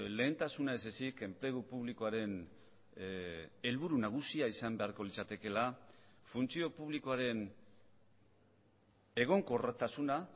lehentasuna ez ezik enplegu publikoaren helburu nagusia izan beharko litzatekeela funtzio publikoaren egonkortasuna